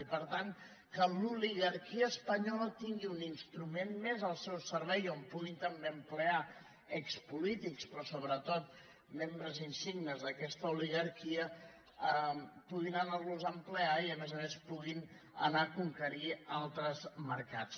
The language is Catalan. i per tant que l’oligarquia espanyola tingui un instrument més al seu servei on puguin també ocupar expolítics però sobretot membres insignes d’aquesta oligarquia puguin anar los a ocupar i a més a més puguin anar a conquerir altres mercats